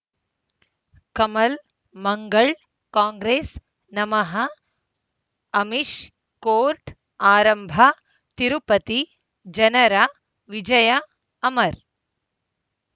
Kamal Mangal Congress ನಮಃ Amish court ಆರಂಭ ತಿರುಪತಿ ಜನರ ವಿಜಯ ಅಮರ್